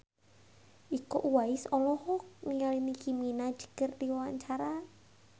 Iko Uwais olohok ningali Nicky Minaj keur diwawancara